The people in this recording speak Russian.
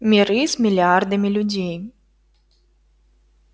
миры с миллиардами людей